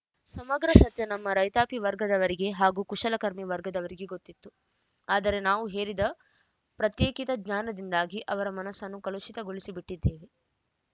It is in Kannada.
ಸಮಗ್ರ ಸತ್ಯ ನಮ್ಮ ರೈತಾಪಿ ವರ್ಗದವರಿಗೆ ಹಾಗೂ ಕುಶಲಕರ್ಮಿ ವರ್ಗದವರಿಗೆ ಗೊತ್ತಿತ್ತು ಆದರೆ ನಾವು ಹೇರಿದ ಪ್ರತ್ಯೇಕಿತ ಜ್ಞಾನದಿಂದಾಗಿ ಅವರ ಮನಸ್ಸನ್ನು ಕಲುಷಿತಗೊಳಿಸಿಬಿಟ್ಟಿದ್ದೇವೆ